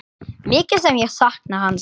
Mikið sem ég sakna hans.